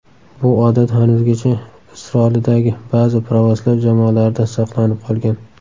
Bu odat hanuzgacha Isrolidagi ba’zi pravoslav jamolarida saqlanib qolgan.